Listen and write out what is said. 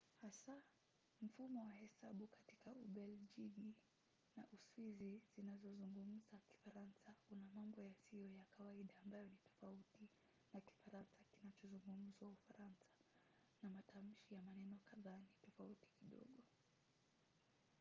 hasa mfumo wa hesabu katika ubelgiji na uswizi zinazozungumza kifaransa una mambo yasiyo ya kawaida ambayo ni tofauti na kifaransa kinachozungumzwa ufaransa na matamshi ya maneno kadhaa ni tofauti kidogo